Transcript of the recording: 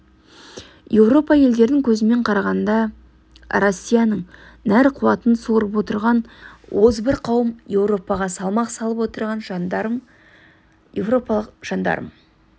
европа елдерінің көзімен қарағанда россияның нәр қуатын сорып отырған озбыр қауым европаға салмақ салып отырған жандарм европалық жандарм